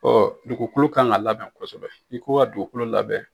dugukolo kan ka labɛn kosɛbɛ i ko ka dugukolo labɛn